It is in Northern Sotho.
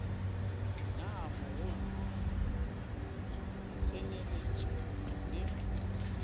naa mogolo go tsenyeletša le